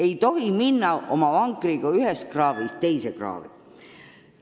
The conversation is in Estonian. Ei tohi oma vankriga ühest kraavist teise kraavi sõita.